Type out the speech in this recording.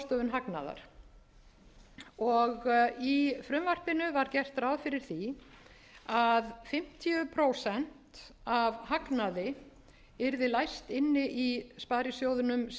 fjallar um ráðstöfun hagnaðar í frumvarpinu var gert ráð fyrir því að fimmtíu prósent af hagnaði yrði læst inni í sparisjóðunum sem varasjóður